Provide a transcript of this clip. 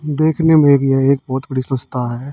देखने में यह एक बहुत बड़ी संस्था है।